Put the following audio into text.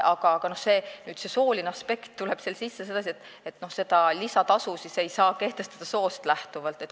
Aga sooline aspekt tuleb seal sisse sedasi, et seda lisatasu ei saa kehtestada soost lähtuvalt.